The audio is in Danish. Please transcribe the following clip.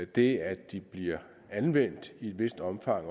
det at de bliver anvendt i et vist omfang